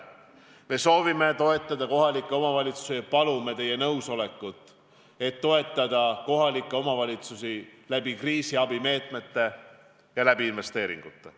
Me soovime toetada kohalikke omavalitsusi ja palume teie nõusolekut, et toetada neid läbi kriisiabimeetmete ja investeeringute.